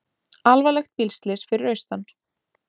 Alvarlegt bílslys fyrir austan